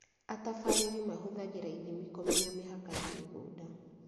Atabarĩri mahũthagĩra ithimi kũmenya mĩhaka ya mĩgũnda.